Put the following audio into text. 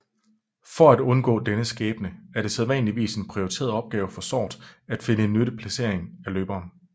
For at undgå denne skæbne er det sædvanligvis en prioriteret opgave for sort at finde en nyttig placering af løberen